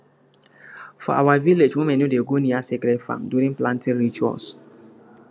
for our village women no go near sacred farm during planting rituals